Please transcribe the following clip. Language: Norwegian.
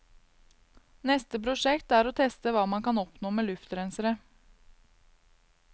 Neste prosjekt er å teste hva man kan oppnå med luftrensere.